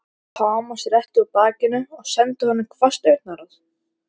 Thomas rétti úr bakinu og sendi honum hvasst augnaráð.